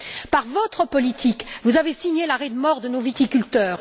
Par votre politique, vous avez signé l'arrêt de mort de nos viticulteurs.